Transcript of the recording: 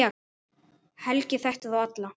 Helgi þekkti þá alla.